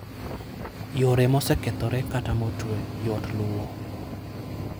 Yore mosekethore kata motwe yot luwo.